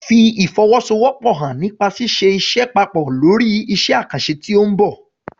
Fi ìfọwọ́sowọ́pọ̀ hàn nípa ṣíṣe iṣẹ́ papọ̀ lórí iṣẹ́ àkànṣe tí ó ń bọ̀.